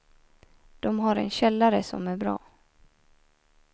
De har en källare som är bra.